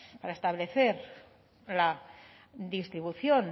para establecer la distribución